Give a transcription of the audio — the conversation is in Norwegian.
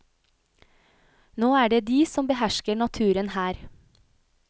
Nå er det de som behersker naturen her.